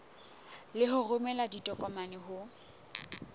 le ho romela ditokomane ho